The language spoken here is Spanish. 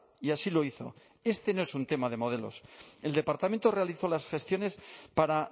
y así lo hizo este no es un tema de modelos el departamento realizó las gestiones para